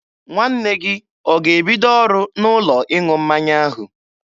Nwanne gị ọ ga-ebido ọrụ n'ụlọ ịṅụ mmanya ahụ?